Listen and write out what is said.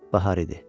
Bahar idi.